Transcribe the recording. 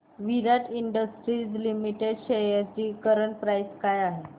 विराट industries limited shares ची current price काय आहे